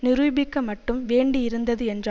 நிரூபிக்க மட்டும் வேண்டி இருந்தது என்ற